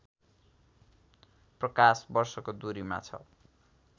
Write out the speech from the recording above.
प्रकाश वर्षको दूरीमा छ